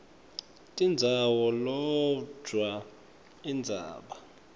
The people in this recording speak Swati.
tindzawo kodvwa indzaba